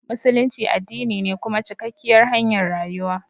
Musulunci addini ne kuma cikakkiyar hanyar rayuwa.